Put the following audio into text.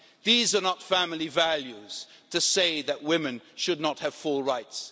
These are not family values, to say that women should not have full rights.